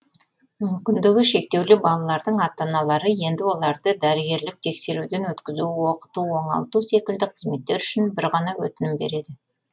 мүмкіндігі шектеулі балалардың ата аналары енді оларды дәрігерлік тексеруден өткізу оқыту оңалту секілді қызметтер үшін бір ғана өтінім береді